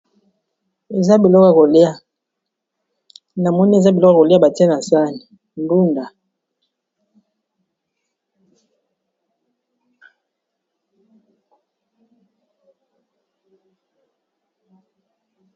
Na moni eza biloko ya kolia batie na sani ndunda.